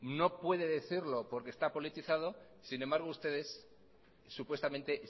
no puede decirlo porque está politizado sin embargo ustedes supuestamente